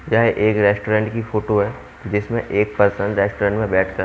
यह एक रेस्टोरेंट की फोटो है जिसमें एक पर्सन रेस्टोरेंट में बैठ कर--